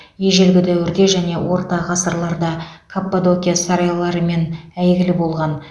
ежелгі дәуірде және орта ғасырларда каппадокия сарайларымен әйгілі болған